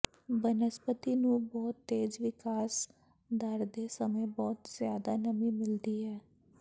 ਬਨਸਪਤੀ ਨੂੰ ਬਹੁਤ ਤੇਜ਼ ਵਿਕਾਸ ਦਰ ਦੇ ਸਮੇਂ ਬਹੁਤ ਜ਼ਿਆਦਾ ਨਮੀ ਮਿਲਦੀ ਹੈ